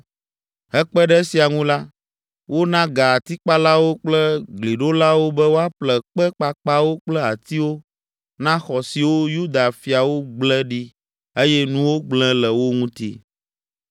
Hekpe ɖe esia ŋu la, wona ga atikpalawo kple gliɖolawo be woaƒle kpe kpakpawo kple atiwo na xɔ siwo Yuda fiawo gble ɖi eye nuwo gblẽ le wo ŋuti.